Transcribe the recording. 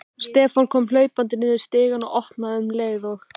Stefán kom hlaupandi niður stigann og opnaði um leið og